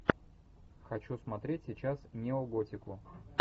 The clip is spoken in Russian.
хочу смотреть сейчас неоготику